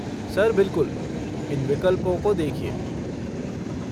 Sir बिलकुल, इन विकल्पों को देखिए।